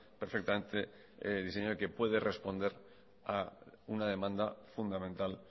perfectamente diseñado y que puede responder a una demanda fundamental